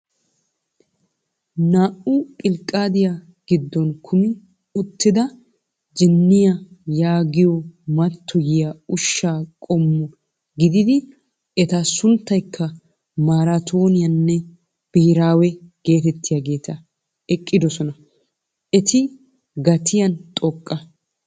Naa"u pilqaadiyaa giddon kumi uttida jinniyaa yaagiyoo mattoyiyaa ushshaa qommo gidiida eta sunttaykka maraatoniyaanne biheraawe getettiyaageti eqqidoosona. Eti gaatiyaan xooqqa.